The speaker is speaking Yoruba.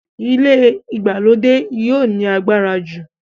ilé ìgbàlódé yio ní agbára jù.